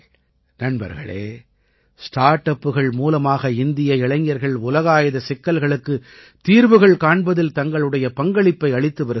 நண்பர்களே ஸ்டார் அப்புகள் மூலமாக இந்திய இளைஞர்கள் உலகாயத சிக்கல்களுக்குத் தீர்வுகள் காண்பதில் தங்களுடைய பங்களிப்பை அளித்து வருகிறார்கள்